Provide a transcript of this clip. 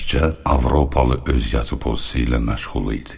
Təkcə Avropalı öz yazı pozisiya ilə məşğul idi.